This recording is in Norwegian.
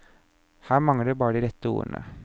Her mangler det bare de rette ordene.